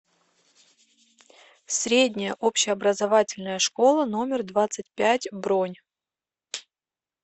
средняя общеобразовательная школа номер двадцать пять бронь